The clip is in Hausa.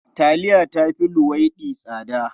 Taliya ta fi luwaiɗi tsada.